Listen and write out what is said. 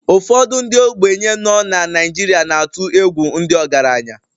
Ụfọdụ ndị ogbenye nọ na Naijiria na-atụ egwu ndị ọgaranya